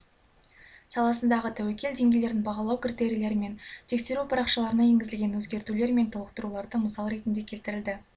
саласындағы тәуекел деңгейлерін бағалау критерийлері мен тексеру парақшаларына енгізілген өзгертулер мен толықтыруларды мысал ретінде келтірді